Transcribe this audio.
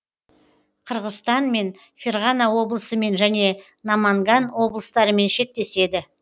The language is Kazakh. қырғызстанмен ферғана облысымен және наманган облыстарымен шектеседі